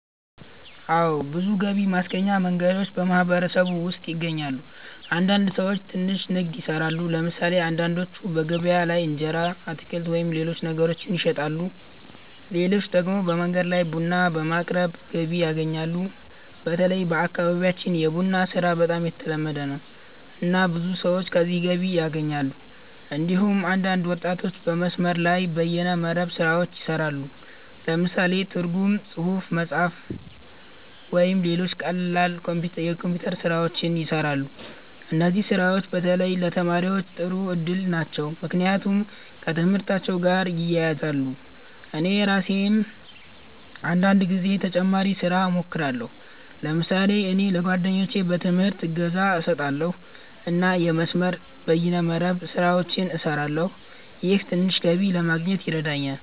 አዎ። ብዙ ገቢ ማስገኛ መንገዶች በማህበረሰቡ ውስጥ ይገኛሉ። አንዳንድ ሰዎች ትንሽ ንግድ ይሰራሉ። ለምሳሌ አንዳንዶቹ በገበያ ላይ እንጀራ፣ አትክልት ወይም ሌሎች ነገሮችን ይሸጣሉ። ሌሎች ደግሞ በመንገድ ላይ ቡና በማቅረብ ገቢ ያገኛሉ። በተለይ በአካባቢያችን የቡና ስራ በጣም የተለመደ ነው፣ እና ብዙ ሰዎች ከዚህ ገቢ ያገኛሉ። እንዲሁም አንዳንድ ወጣቶች በመስመር ላይ (በይነ መረብ) ስራዎች ይሰራሉ። ለምሳሌ ትርጉም፣ ጽሁፍ መጻፍ፣ ወይም ሌሎች ቀላል የኮምፒውተር ስራዎች ይሰራሉ። እነዚህ ስራዎች በተለይ ለተማሪዎች ጥሩ እድል ናቸው፣ ምክንያቱም ከትምህርታቸው ጋር ይያያዛሉ። እኔ ራሴም አንዳንድ ጊዜ ተጨማሪ ስራ እሞክራለሁ። ለምሳሌ እኔ ለጓደኞቼ በትምህርት እገዛ እሰጣለሁ እና የመስመር(በይነ መረብ) ስራዎችን እሰራለሁ። ይህም ትንሽ ገቢ ለማግኘት ይረዳኛል።